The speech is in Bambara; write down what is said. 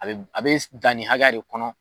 A be a be dan nin hakɛya de kɔnɔ